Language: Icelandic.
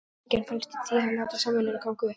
Hamingjan felst í því að láta samvinnuna ganga upp.